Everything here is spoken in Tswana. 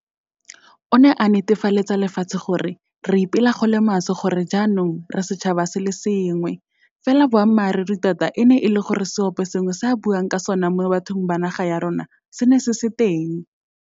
O ne a netefaletsa lefatshe gore, re ipela go le maswe gore jaanong re setšhaba se le sengwe. Fela boammaruri tota e ne e le gore seoposengwe se a buang ka sona mo bathong ba naga ya rona se ne se se teng.